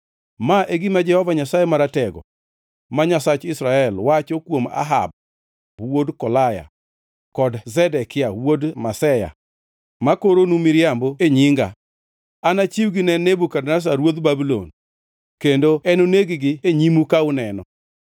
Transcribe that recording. Ma e gima Jehova Nyasaye Maratego, ma Nyasach Israel, wacho kuom Ahab wuod Kolaya kod Zedekia wuod Maseya, ma koronu miriambo e nyinga: “Anachiwgi ne Nebukadneza ruodh Babulon, kendo enoneg-gi e nyimu ka uneno.